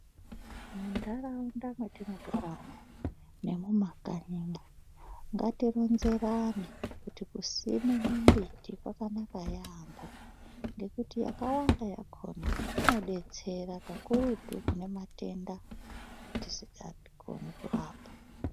Muntaraunda mwetinogara umu nemumakanyimwo ngatironzerane kuti kusime mimbiti kwakanaka yaamho ngekuti yakawanda yakhona inodetsera kakurutu kune matenda etisikakoni kurapa.